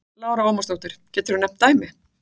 Lára Ómarsdóttir: Geturðu nefnt dæmi?